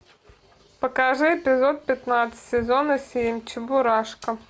покажи эпизод пятнадцать сезона семь чебурашка